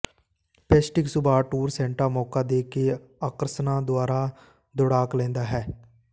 ਪੈਸੀਟਿਕ ਸੁਭਾਅ tour Santa Monica ਦੇ ਆਕਰਸ਼ਣਾਂ ਦੁਆਰਾ ਦੌੜਾਕ ਲੈਂਦਾ ਹੈ